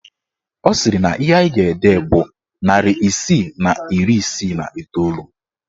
Ọ sịrị na ihe anyị ga-ede bụ narị isii na iri isii na iteolu